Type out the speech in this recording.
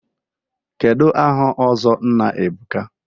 Kedụ aha ọzọ Nna Ebuka?